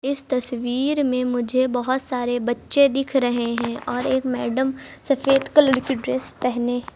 इस तस्वीर में मुझे बहुत सारे बच्चे दिख रहे हैं और एक मैडम सफेद कलर की ड्रेस पहने--